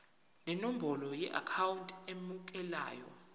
nenombolo yeakhawunti emukelayo